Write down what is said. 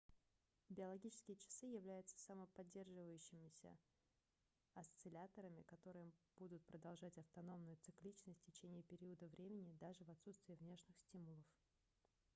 биологические часы являются самоподдерживающимися осцилляторами которые будут продолжать автономную цикличность в течение периода времени даже в отсутствие внешних стимулов